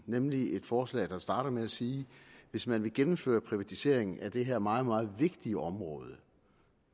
nemlig et forslag der starter med at sige at hvis man vil gennemføre privatisering af det her meget meget vigtige område